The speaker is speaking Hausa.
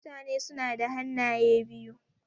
Mutane suna da hannaye biyu.